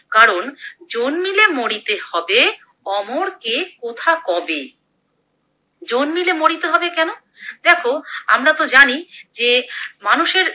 কারণ জন্মিলে মরিতে হবে অমর কে কথা কবে, জন্মিলে মরিতে হবে কেনো? দেখো আমরা তো জানি মানুষের